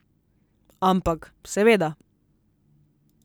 Ampak, seveda.